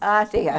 A